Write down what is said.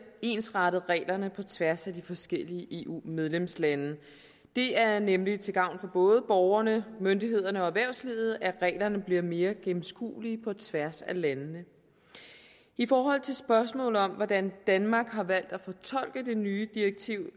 ensrettet reglerne på tværs af de forskellige eu medlemslande det er nemlig til gavn for både borgerne myndighederne og erhvervslivet at reglerne bliver mere gennemskuelige på tværs af landene i forhold til spørgsmålet om hvordan danmark har valgt at fortolke det nye direktiv